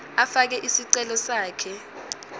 afake isicelo sakhe